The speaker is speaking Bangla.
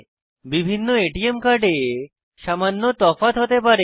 বিভিন্ন এটিএম কার্ডে সামান্য তফাৎ হতে পারে